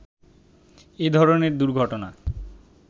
এ ধরনের দুর্ঘটনা